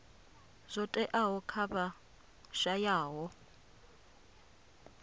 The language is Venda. zwo teaho kha vha shayaho